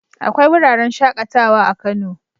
Akwai wuraren shaƙatawa a Kano.